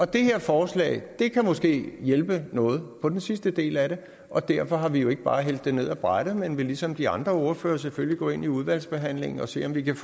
det her forslag kan måske hjælpe noget på den sidste del af det og derfor har vi jo ikke bare hældt det ned ad brættet men vil ligesom de andre ordførere selvfølgelig gå ind i udvalgsbehandlingen og se om vi kan